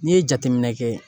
N'i ye jateminɛ kɛ